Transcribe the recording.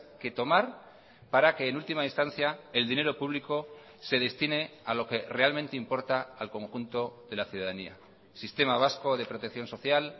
que tomar para que en última instancia el dinero público se destine a lo que realmente importa al conjunto de la ciudadanía sistema vasco de protección social